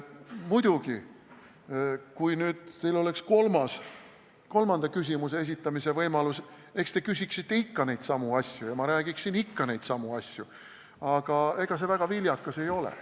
Muidugi, kui teil oleks kolmanda küsimuse esitamise võimalus, siis eks te küsiksite ikka neidsamu asju ja ma räägiksin ikka neidsamu asju, aga ega see väga viljakas ei ole.